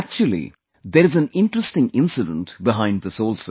Actually, there is an interesting incident behind this also